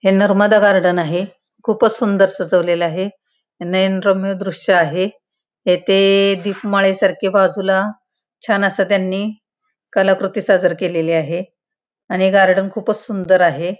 हे नर्मदा गार्डन आहे खुपच सुंदर सजवलेल आहे नयन रम्य दृश आहे इथे दिपमाळे सारखे बाजूला छान अस त्यांनी कलाकृति सादर केलेली आहे आणि हे गार्डन खुपच सुंदर आहे.